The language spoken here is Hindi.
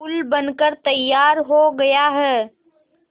पुल बनकर तैयार हो गया है